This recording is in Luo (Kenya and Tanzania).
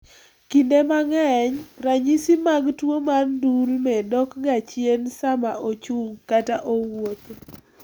Kinde mang'eny , ranyisi mag tuwo mar ndulme dokga chien sama ochung ' kata owuotho .